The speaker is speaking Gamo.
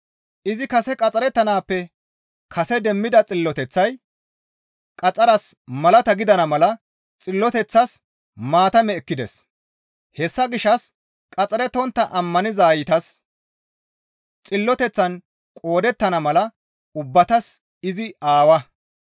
Izi kase qaxxarettanaappe kase demmida xilloteththay qaxxaras malata gidana mala xilloteththas maatame ekkides. Hessa gishshas qaxxarettontta ammanizaytas xilloteththan qoodettana mala ubbatas izi aawa.